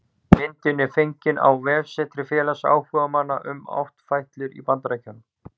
Myndin er fengin á vefsetri félags áhugamanna um áttfætlur í Bandaríkjunum